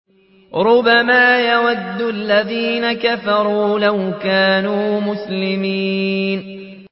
رُّبَمَا يَوَدُّ الَّذِينَ كَفَرُوا لَوْ كَانُوا مُسْلِمِينَ